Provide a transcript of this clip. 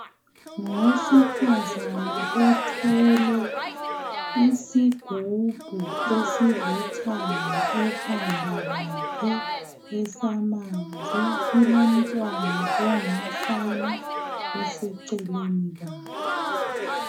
Ngowesifazana othwele isigubhu esilithanga ekhanda lakhe esamanzi, kulomntwana ongumfana oseceleni kwakhe.